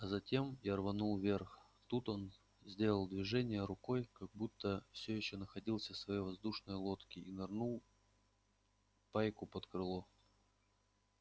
а затем я рванул вверх тут он сделал движение рукой как будто все ещё находился в своей воздушной лодке и нырнул пайку под крыло